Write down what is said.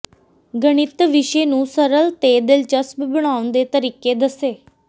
ਗਣਿਤ ਵਿਸ਼ੇ ਨੂੰ ਸਰਲ ਤੇ ਦਿਲਚਸਪ ਬਣਾਉਣ ਦੇ ਤਰੀਕੇ ਦੱਸੇ